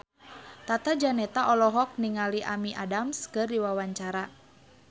Tata Janeta olohok ningali Amy Adams keur diwawancara